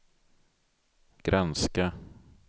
granska